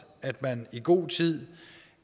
at man i god tid